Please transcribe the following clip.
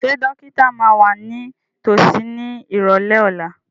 Ṣé dókítà máa wà ní tòsí ní ìrọ̀lẹ́ ọ̀la?